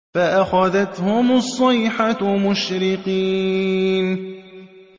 فَأَخَذَتْهُمُ الصَّيْحَةُ مُشْرِقِينَ